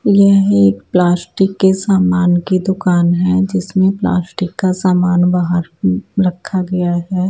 यह एक प्लास्टिक के सामान की दुकान है जिसमें प्लास्टिक का सामान बाहर उँ रखा गया है।